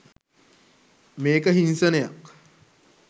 මේක හිංසනයක්